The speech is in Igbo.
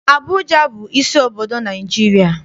Abụja bụ isi obodo Naịjirịa.